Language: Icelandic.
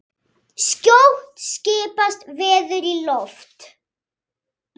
Skjótt skipast veður í loft.